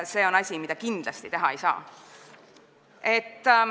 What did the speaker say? See on asi, mida kindlasti teha ei saa.